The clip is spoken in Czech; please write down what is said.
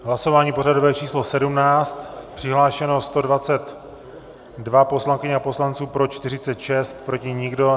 Hlasování pořadové číslo 17, přihlášeno 122 poslankyň a poslanců, pro 46, proti nikdo.